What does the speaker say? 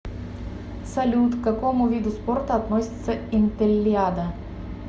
салют к какому виду спорта относится интеллиада